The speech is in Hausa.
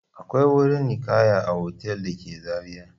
Akwai wuri ninkaya a otal da ke Zariya.